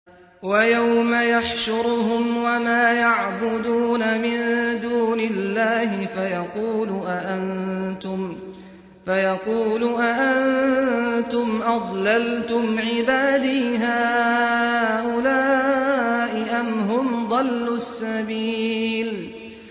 وَيَوْمَ يَحْشُرُهُمْ وَمَا يَعْبُدُونَ مِن دُونِ اللَّهِ فَيَقُولُ أَأَنتُمْ أَضْلَلْتُمْ عِبَادِي هَٰؤُلَاءِ أَمْ هُمْ ضَلُّوا السَّبِيلَ